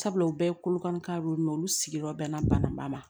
Sabula u bɛɛ ye kolokan ye mɛ olu sigiyɔrɔ bɛnna bananba ma